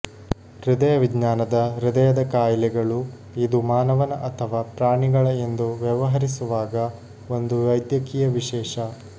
ಹೃದಯ ವಿಜ್ಞಾನದ ಹೃದಯದ ಕಾಯಿಲೆಗಳು ಇದು ಮಾನವನ ಅಥವಾ ಪ್ರಾಣಿಗಳ ಎಂದು ವ್ಯವಹರಿಸುವಾಗ ಒಂದು ವೈದ್ಯಕೀಯ ವಿಶೇಷ